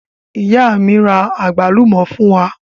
Ìyá mi àgbálùmọ́ fún mi.